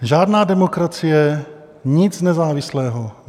Žádná demokracie, nic nezávislého.